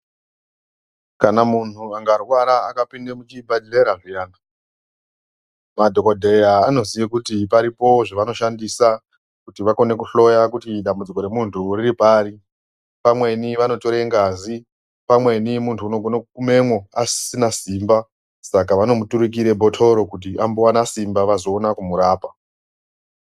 Kana muntu angarwara akapinde muchibhedhleya zviyana madhokodheya anoziye kuti paripo zvevanoshandisa kuti vakone kuhloya kuti dambudziko remuntu riri pari. Pamweni vanotore ngazi, pamweni muntu unogona kugumemwo asisina simba saka vanomuturikira bhotoro kuti ambowana simba vazoona kumurapa.